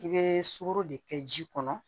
I bɛ sukoro de kɛ ji kɔnɔ